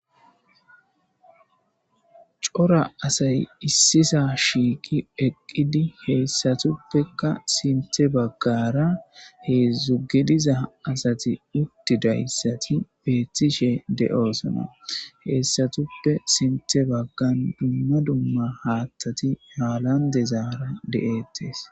Cora asay issisa shiiqi eqqidi heessatuppekka sinte baggara heezu gidiza asati uttidayssati beettishe de7oosona. Heessatuppe sintte baggan dumma dumma haattati haalan dezaara de7ettes